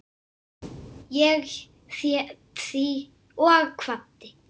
Ég hét því og kvaddi.